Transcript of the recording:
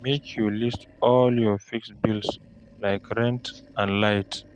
Make you list all your fixed bills like rent and light